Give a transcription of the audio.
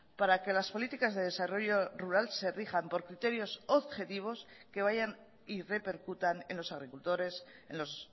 para que las políticas de desarrollo rural se rijan por criterios objetivos que vayan y repercutan en los agricultores en los